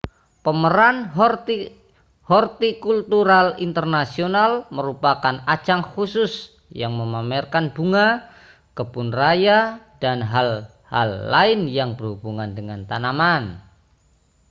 pameran hortikultural internasional merupakan ajang khusus yang memamerkan bunga kebun raya dan hal-hal lain yang berhubungan dengan tanaman